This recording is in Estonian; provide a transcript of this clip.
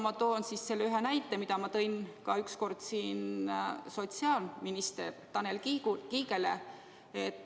Ma toon ühe näite, mille ma tõin ükskord siin ka sotsiaalminister Tanel Kiigele.